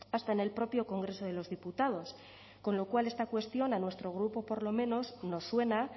hasta en el propio congreso de los diputados con lo cual esta cuestión a nuestro grupo por lo menos nos suena